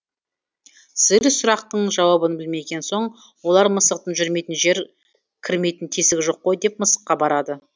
сиыр сұрақтың жауабын білмеген соң олар мысықтың жүрмейтін жері кірмейтін тесігі жоқ қой деп мысыққа барады